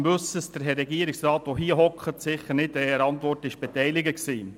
Dies im Wissen darum, dass der Regierungsrat, der hier sitzt, sicher nicht an der Antwort beteiligt war.